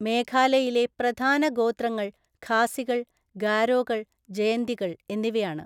മേഘാലയയിലെ പ്രധാന ഗോത്രങ്ങൾ ഖാസികൾ, ഗാരോകൾ, ജയന്തികൾ എന്നിവയാണ്.